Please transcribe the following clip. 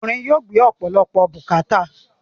Ọkùnrin yóò gbé ọ̀pọ̀lọpọ̀ bùkàátà.